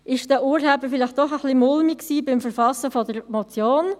War es den Urhebern doch ein bisschen mulmig beim Verfassen der Motion?